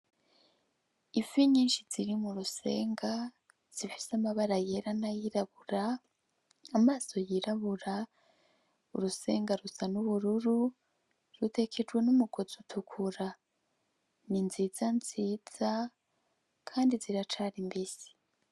Ifi nyinshi ziri mu rusenga zifise amabara yera n'ayirabura, amaso yirabura , urusenga rusa n'ubururu , rutekejwe n'umugozi utukura, ni nziza nziza kandi ziracari mbisi.